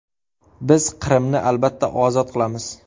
Biz Qrimni albatta ozod qilamiz.